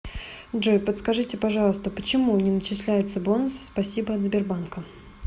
джой подскажите пожалуйста почему не начисляются бонусы спасибо от сбербанка